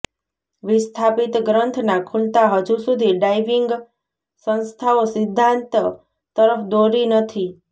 વિસ્થાપિત ગ્રંથના ખૂલતા હજુ સુધી ડાઇવિંગ સંસ્થાઓ સિદ્ધાંત તરફ દોરી નથી